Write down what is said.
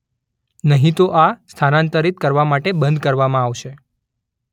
નહીં તો આ સ્થાનાંતરિત કરવા માટે બંધ કરવામાં આવશે.